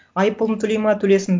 айыппұлын төлейді ма төлесін